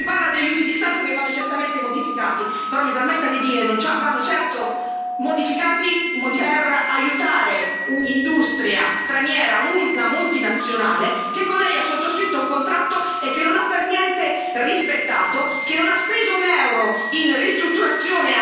Si parla di aiuti di Stato che vanno certamente modificati, però mi permetta di dire, non vanno certo modificati per aiutare un'industria straniera, una multinazionale che con Lei ha sottoscritto un contratto che non ha per niente rispettato, che non ha speso un euro in ristrutturazione.